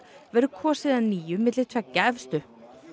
verður kosið að nýju milli tveggja efstu